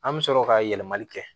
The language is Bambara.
An bɛ sɔrɔ ka yɛlɛmali kɛ